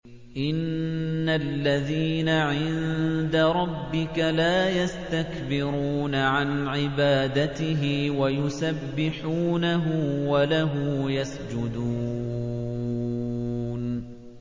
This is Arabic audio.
إِنَّ الَّذِينَ عِندَ رَبِّكَ لَا يَسْتَكْبِرُونَ عَنْ عِبَادَتِهِ وَيُسَبِّحُونَهُ وَلَهُ يَسْجُدُونَ ۩